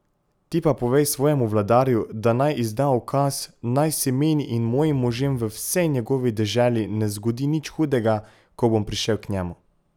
Ti pa povej svojemu vladarju, da naj izda ukaz, naj se meni in mojim možem v vsej njegovi deželi ne zgodi nič hudega, ko bom prišel k njemu.